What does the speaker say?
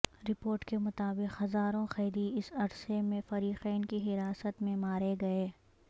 report کے مطابق ہزاروں قیدی اس عرصے میں فریقین کی حراست میں مارے گئے